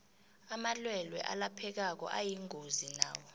amalwelwe alaphekako ayingozi nawo